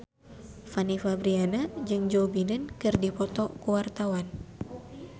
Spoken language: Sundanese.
Fanny Fabriana jeung Joe Biden keur dipoto ku wartawan